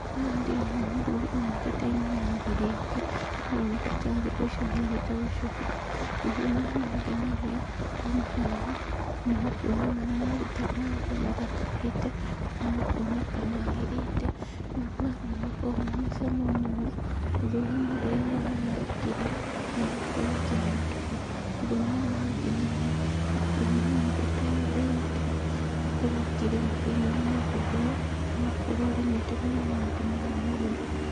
Haha ndĩrona mũthuri anyitĩte inanathi rĩake, rĩroneka tarĩ gũicĩhia arenda gũicũhia, maũndũ marĩa mangenagia, ndona haha, nĩkuona mananthi ta maya ũguo mathakarĩte, na makoneka magĩrĩte. Mananathi nĩmakoragwo mena cama mũno, ũndũ ũrĩa mũndũ aiguaga wega akĩrĩa, na agakorwo akĩnyotoka. Maũndũ marĩa mangenagia, nĩkuona mũndũ ta ũyũ erutĩire, akorwo akĩrĩma thĩinĩ wa mũgũnda ũyũ, agakorwo arĩmĩte mananathi maya mothe.